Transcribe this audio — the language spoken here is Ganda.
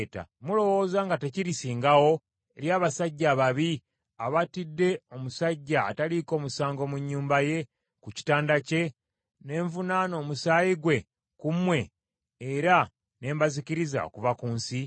Mulowooza nga tekirisingawo eri abasajja ababi abattidde omusajja ataliiko musango mu nnyumba ye, ku kitanda kye, ne nvunaana omusaayi gwe ku mmwe era ne mbazikiriza okuva ku nsi?”